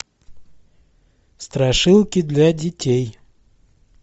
страшилки для детей